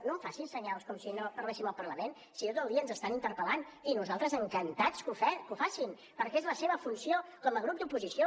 no em faci senyals com si no parléssim al parlament si tot el dia ens estan interpel·lant i nosaltres encantats que ho facin perquè és la seva funció com a grup d’oposició